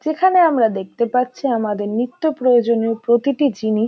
যেখানে আমরা দেখতে পাচ্ছি আমাদের নিত্যপ্রয়োজনীয় প্রতিটি জিনিস।